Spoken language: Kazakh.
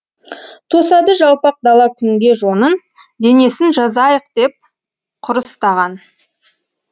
тосады жалпақ дала күнге жонын денесін жазайық деп құрыстаған